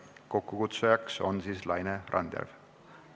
Kokkukutsuja on Laine Randjärv.